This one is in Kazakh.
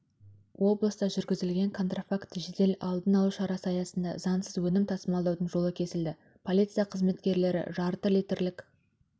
облыста жүргізілген контрафакт жедел-алдын алу шарасы аясында заңсыз өнім тасымалдаудың жолы кесілді полиция қызметкерлері жарты литрлік